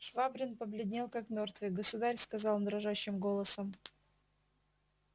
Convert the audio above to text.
швабрин побледнел как мёртвый государь сказал он дрожащим голосом